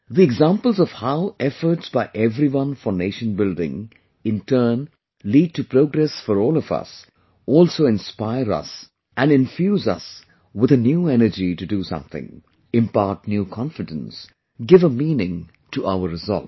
The examples of how efforts by everyone for nation building in turn lead to progress for all of us, also inspire us and infuse us with a new energy to do something, impart new confidence, give a meaning to our resolve